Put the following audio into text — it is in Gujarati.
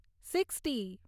સિક્સ્ટી